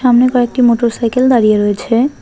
সামনে কয়েকটি motorcycle দাঁড়িয়ে রয়েছে।